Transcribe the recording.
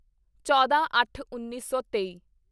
ਚੌਦਾਂਅੱਠਉੱਨੀ ਸੌ ਤੇਈ